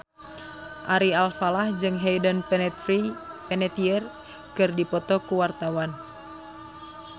Ari Alfalah jeung Hayden Panettiere keur dipoto ku wartawan